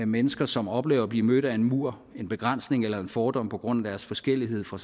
mennesker som oplever at blive mødt af en mur en begrænsning eller en fordom på grund af deres forskellighed fra